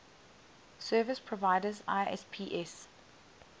service providers isps